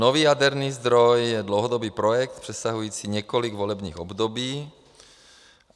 Nový jaderný zdroj je dlouhodobý projekt přesahující několik volebních období.